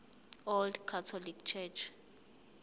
old catholic church